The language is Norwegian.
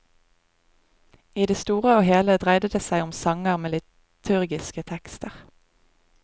I det store og hele dreide det seg om sanger med liturgiske tekster.